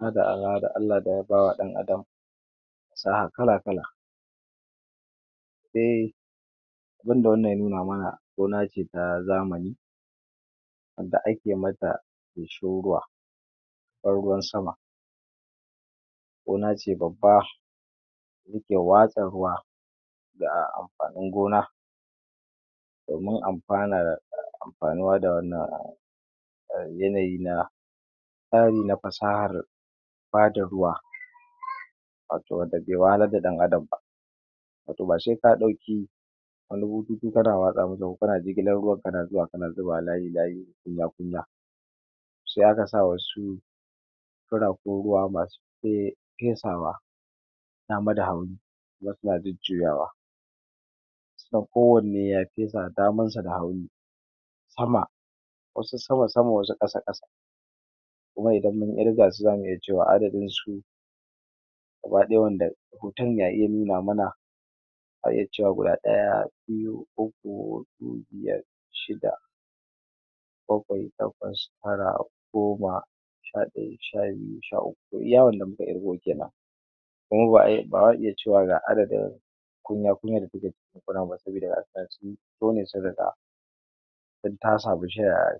Allah da ya ba wa dan Adam sa’a kala kala. Dai abun da wannan ya nuna mana gona ce ta zamani wadda ake mata feshin ruwa ban ruwan sama. Gona ce babba suke watsa ruwa da amfanin gona domin amfanar anfanuwa. Da wannan yanayi na tsare na fasahar ba da ruwa wato wanda ba ya wahalar da dan Adam ba, wato ba shi ya kawo ɗauki wani bututu kana watsa musu, kana jigilar ruwan, kana zuba wa layi layi kunya kunya. Sai aka sa wasu kurakun ruwa masu fesawa dama da hagu kuma suna jujjuyawa, kowanne ya fesa damansa da hagu, sama wasu sama sama, wasu ƙasa ƙasa. Kuma idan mun irga su zamu iya cewa adadinsu gaba ɗaya wanda hoton ya iya nuna mana, za a iya cewa guda ɗaya, biyu, uku, huɗu, biyar, shida, bakwai, takwas, tara, goma, sha ɗaya, sha biyu, sha uku, to iya wanda muka ƙirga. Kuma ba za a iya cewa ga adadin kunya kunya da take gonar ba saboda inta samu shaya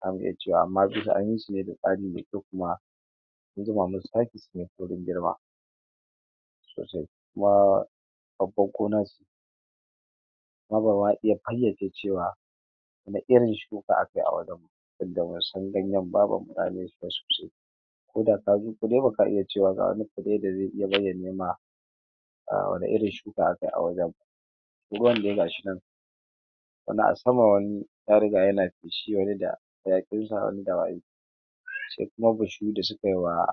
zamu iya cewa. Amma a duka an yi su ne da tsari mai kyau. An zuba musu taki ne su yi saurin girma sosai. Kuma babbar gona ce wadda za a iya fayyace cewa wanne irin shuka aka yi a wurin. Wanda ban san ganyen ko da ƙadan, kule, ba ka iya cewa ga wani fire da zai iya bayyana maka wanne irin shuka aka yi a wurin ba. Ruwan dai gashi nan, wani a sama, wani ya riga yana feshiyar da. Sai kuma bishiyoyi da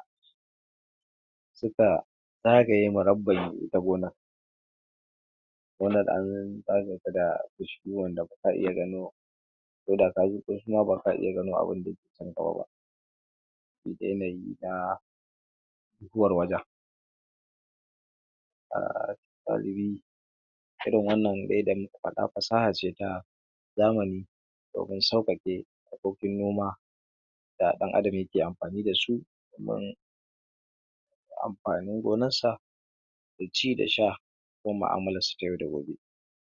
suka zagaye murabban gonar. Gonar an zagayeta da bishiyoyi yadda ba ka iya gano ko da ka zo ba ko kuma ba ka iya gano abun da ke cikinta ba duk da yanayin na huwar wajen. A galibi irin wannan dai da muka faɗa fasaha ce ta zamani domin sauƙaƙe harkokin noma da dan Adam yake amfani da su domin amfanin gonarsa da ci da sha ko mu’amalarsa ta yau da gobe.